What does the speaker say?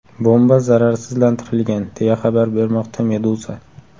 Bomba zararsizlantirilgan, deya xabar bermoqda Meduza.